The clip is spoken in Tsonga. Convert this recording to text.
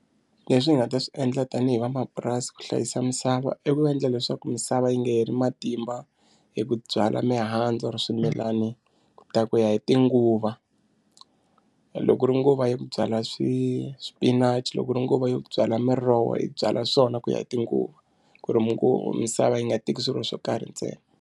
Leswi hi nga ta swi endla tanihi vamapurasi ku hlayisa misava i ku va endla leswaku misava yi nga heli matimba hi ku byala mihandzu or swimilani ta ku ya hi tinguva loko ku ri nguva ya ku byala swi swipinachi loko ri nguva yo byala miroho yi byala swona ku ya hi tinguva ku ri misava yi nga teki swilo swo karhi ntsena.